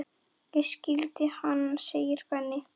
Ég skildi hann! segir Ben.